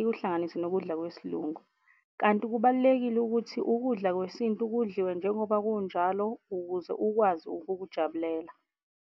ikuhlanganise nokudla kwesiLungu. Kanti kubalulekile ukuthi ukudla kwesintu kudliwe njengoba kunjalo ukuze ukwazi ukukujabulela.